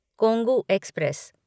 Kongu express